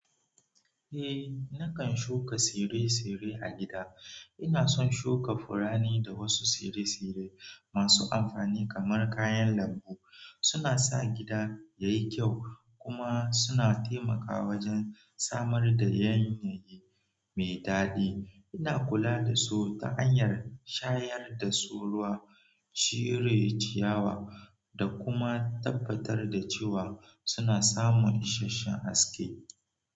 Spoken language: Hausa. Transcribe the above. Eh, nakan shuka tsire-tsire a gida. Ina son shuka furanni da wasu tsire-tsire masu amfani kamar kayan lambu. Suna sa gida yayi kyau kuma suna taimaka wajen samar da yanayi mai daɗi. Ina kula da su ta hanyar shayar da su ruwa, cire ciyawa, da kuma tabbatar da cewa suna samun isasshen haske.